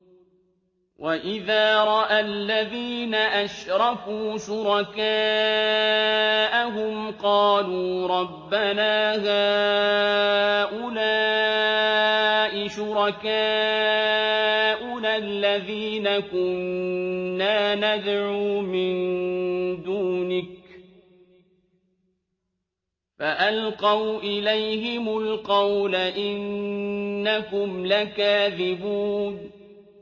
وَإِذَا رَأَى الَّذِينَ أَشْرَكُوا شُرَكَاءَهُمْ قَالُوا رَبَّنَا هَٰؤُلَاءِ شُرَكَاؤُنَا الَّذِينَ كُنَّا نَدْعُو مِن دُونِكَ ۖ فَأَلْقَوْا إِلَيْهِمُ الْقَوْلَ إِنَّكُمْ لَكَاذِبُونَ